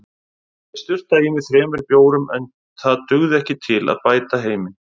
Ég sturtaði í mig þremur bjórum en það dugði ekki til að bæta heiminn.